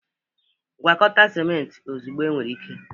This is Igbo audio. Gwakọta ciment ozugbo enwere ike